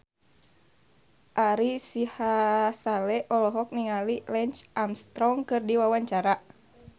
Ari Sihasale olohok ningali Lance Armstrong keur diwawancara